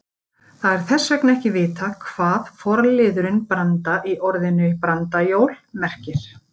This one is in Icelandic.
Það er þess vegna ekki vitað hvað forliðurinn branda- í orðinu brandajól merkir.